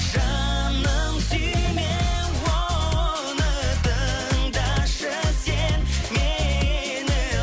жаным сүйме оны тыңдашы сен мені